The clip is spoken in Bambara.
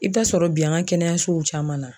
I bɛ taa sɔrɔ bi an ka kɛnɛyasow caman na.